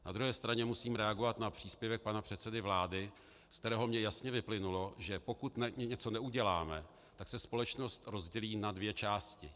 Na druhé straně musím reagovat na příspěvek pana předsedy vlády, ze kterého mi jasně vyplynulo, že pokud něco neuděláme, tak se společnost rozdělí na dvě části.